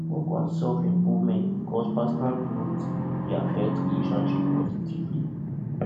work on self improvement because personal growth dey affect relationship positively